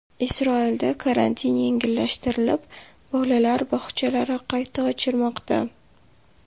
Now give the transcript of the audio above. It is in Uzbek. Isroilda karantin yengillashtirilib, bolalar bog‘chalari qayta ochilmoqda.